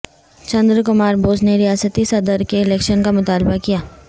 چندر کمار بوس نے ریاستی صدرکے الیکشن کا مطالبہ کیا